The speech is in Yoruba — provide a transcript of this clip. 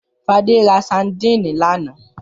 Fadé ra sadínì lánàá?